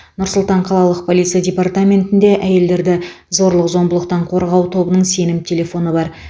нұр сұлтан қалалық полиция департаментінде әйелдерді зорлық зомбылықтан қорғау тобының сенім телефоны бар